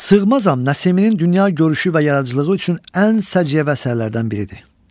Sığmazam Nəsiminin dünya görüşü və yaradıcılığı üçün ən səciyyəvi əsərlərdən biridir.